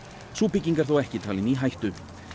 sú bygging er þó ekki talin í hættu